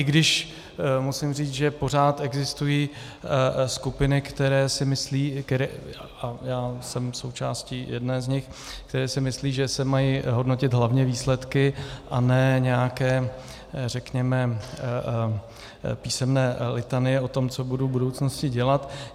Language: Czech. I když musím říct, že pořád existují skupiny, které si myslí - a já jsem součástí jedné z nich - které si myslí, že se mají hodnotit hlavně výsledky a ne nějaké, řekněme, písemné litanie o tom, co budu v budoucnosti dělat.